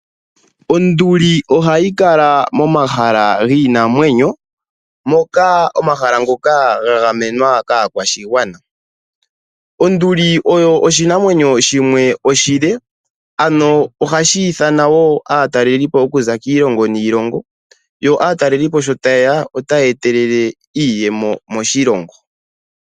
Onduli ohayi kala momahala giinamwenyo. Omahala ngoka gagamenwa kaakwashigwana. Onduli oyo oshinamwenyo shimwe oshile ohashi nana wo aatalelipo okuza kiilongo niilongo. Aatalelipo sho tayeya ohaya etelele iiyemo moshilongo.